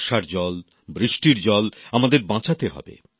বর্ষার জল বৃষ্টির জল আমাদের বাঁচাতে হবে